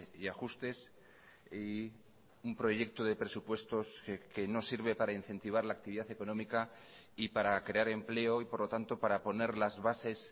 y ajustes y un proyecto de presupuestos que no sirve para incentivar la actividad económica y para crear empleo y por lo tanto para poner las bases